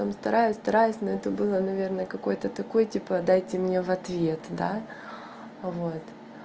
стараюсь стараюсь но это было наверное какой-то такой типа дайте мне в ответ да вот